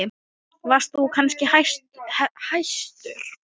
Varst þú kannski hæstur?